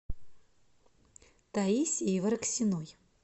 таисии вараксиной